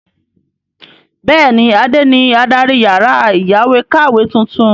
Bẹ́ẹ̀ni, Adé ni adarí yàrá ìyáwèékàwé tuntun.